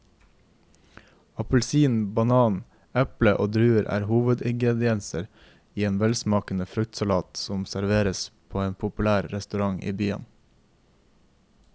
Appelsin, banan, eple og druer er hovedingredienser i en velsmakende fruktsalat som serveres på en populær restaurant i byen.